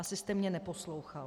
Asi jste mě neposlouchal.